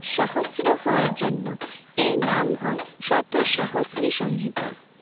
সহস্র হওয়ার জন্য এর নাম হয় শত সহস্রি সংহিতা।